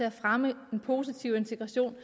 at fremme integrationen